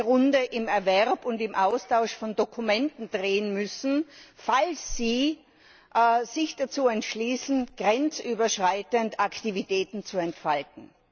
15. Runde im Erwerb und im Austausch von Dokumenten drehen müssen, falls sie sich dazu entschließen, grenzüberschreitend Aktivitäten zu entfalten.